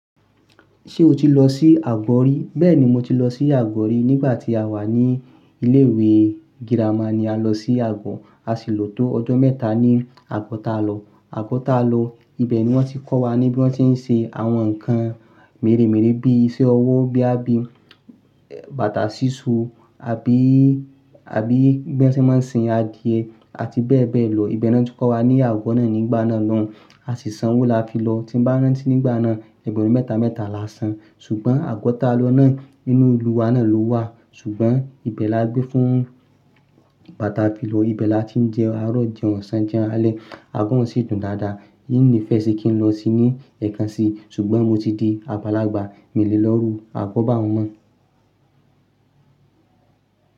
Ṣé o ti lọ sí Àgọ̀ ri? Bẹ́ẹ̀ni, mo ti lọ sí Àgọ̀ ri. Nígbà tí a wà ní ilé ìwé girama ni a lọ sí Àgbọ̀. A sì lò tó ọjọ́ mẹ́ta ní Àgọ̀ ta lọ. Àgọ̀ ta lọ, ibẹ̀ ni wọ́n ti kọ́ wa ní bí wọ́n ti ń ṣe àwọn nǹkan mèremère bí iṣẹ́ ọwọ́ boya bii báta síso, abí-, abí bí wọ́n ti máa ń sin adìẹ àti bẹ́ẹ̀ bẹ́ẹ̀ lọ. Ìbẹ̀ ni wọ́n ti kọ́ wa ní Àgo náà nígbà náà lọun. A sì san owó la fi lọ. Ti n bá rántí nígbà náà, ẹgbẹ̀rún mẹ́ta mẹ́ta la san. Ṣùgbọ́n Àgbọ̀ ta lọ náà nínú ìlú wa náà ló wà. Ṣùgbọ́n ibẹ̀ la gbé fún igba ta fi lọ. Ibẹ̀ la ti ń jẹun àárọ̀ jẹun ọ̀sán jẹun àlẹ̀. Àgọ̀ oun sì dùn dáadáa. In nífẹ̀ẹ́ sí kí n lọ síi ní ẹ̀kan si. Ṣùgbọ́n mo ti di àgbálàgbà. Mi le lọ́'rùú. Àgọ̀ bá un mọ̀